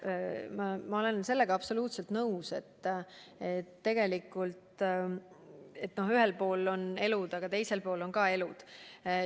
Jah, ma olen sellega absoluutselt nõus, et ühel pool on elud ja teisel pool on ka elud.